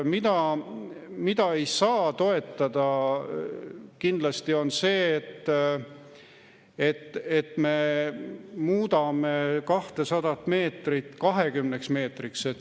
Mida ei saa toetada, on kindlasti see, et muudame 200 meetrit 20 meetriks.